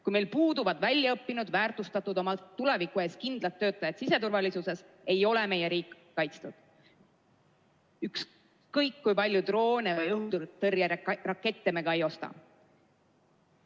Kui meil puuduvad väljaõppinud, väärtustatud, oma tulevikku kindlalt vaatavad töötajad siseturvalisuses, ei ole meie riik kaitstud, ükskõik kui palju droone või õhutõrjerakette me ka ei osta.